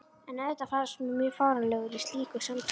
En auðvitað fannst mér ég mjög fáránlegur í slíku samtali.